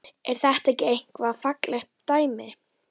Er þetta ekki eitthvað faglegt dæmi?